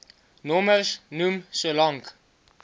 nommers noem solank